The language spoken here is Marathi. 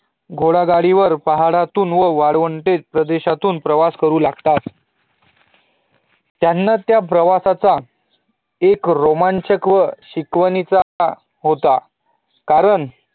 घोडागाडी वर एकदा पहाडावरून वाळवंट प्रदेशातून प्रवास करू लागतात त्यांना त्या प्रवासाचा एक रोमांचक व शिकवणीचहोता कारण